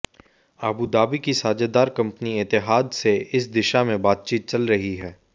Abu Dhabi की साझेदार company Etihad से इस दिशा में बातचीत चल रही है